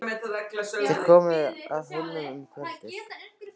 Þeir komu að Hólum um kvöldið.